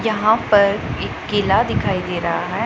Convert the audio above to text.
यहां पर एक किला दिखाई दे रहा है।